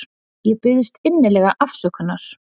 Ég biðst innilega afsökunar.